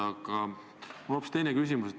Aga mul on hoopis teine küsimus.